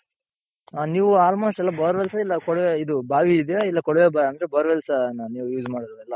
ಹ ನೀವ್ almost ಎಲ್ಲಾ bore wells ಇಲ್ಲ ಕೊಳವೆ ಇದು ಬಾವಿ ಇದ್ದೀಯ ಇಲ್ಲ ಕೊಳವೆ ಅಂದ್ರೆ bore wells ನ ನೀವ್ use ಮಾಡೋದ್ ಎಲ್ಲಾ.